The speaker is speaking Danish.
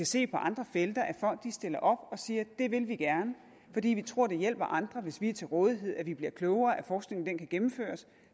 se på andre felter at folk stiller op og siger det vil vi gerne fordi vi tror det hjælper andre hvis vi er til rådighed vi bliver klogere af at forskningen kan gennemføres